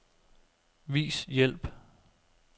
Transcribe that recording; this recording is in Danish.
Vis hjælp.